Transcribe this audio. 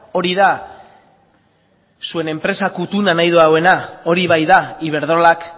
hori da zuen enpresa kuttuna nahi duena hori baita iberdrolak